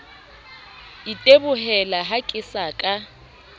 itebohela ha ke sa ka